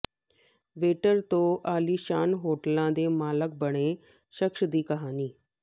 waiter ਤੋਂ ਆਲੀਸ਼ਾਨ ਹੋਟਲਾਂ ਦੇ ਮਾਲਕ ਬਣੇ ਸ਼ਖਸ ਦੀ ਕਹਾਣੀ